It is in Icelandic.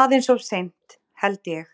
Aðeins of seint, held ég,